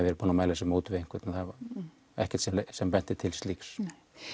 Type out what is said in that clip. verið búin að mæla sér mót við einhvern það er ekkert sem bendir til slíks nei